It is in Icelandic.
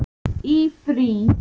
Í frí.